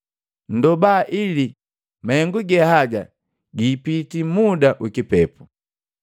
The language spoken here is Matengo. Nndoba ili mahengu ge haga giipiti muda ukipepu.